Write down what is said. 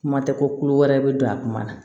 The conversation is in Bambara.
Kuma tɛ kolo wɛrɛ bɛ don a kuma na